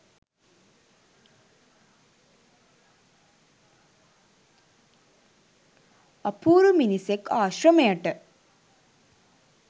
අපූරු මිනිසෙක් ආශ්‍රමයට